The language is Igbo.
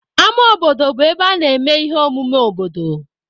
Ámá obodo bụ ebe a na-eme ihe omume obodo.